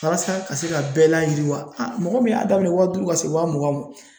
Walasa ka se ka bɛɛ layiriwa aa mɔgɔ min y'a daminɛ waa duuru ka se waa mugan ma